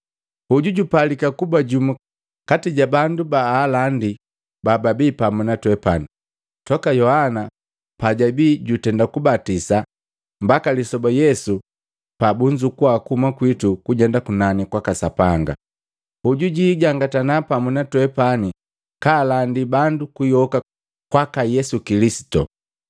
Hoju jupalika kuba jumu kati ja bandu baalandi bababi pamu na twepani, toka Yohana pajabi jutenda kubatisa, mbaka lisoba Yesu pa bunzukua kuhuma kwitu kujenda kunani kwaka Sapanga. Hoju jijangatana pamu na twepani kaalandi bandu kuyoka kwaka Yesu Kilisitu.”